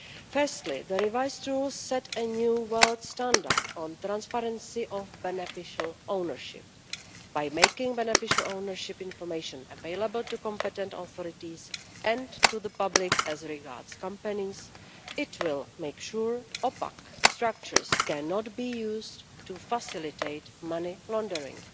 Firstly, the revised rules set a new world standard on transparency of beneficial ownership. By making beneficial ownership information available to competent authorities and to the public as regards companies, it will make sure opaque structures cannot be used to facilitate money laundering.